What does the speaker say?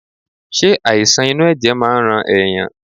Ṣe àìsàn inú ẹ̀jẹ̀ máa ń rán ẹ̀yàn.?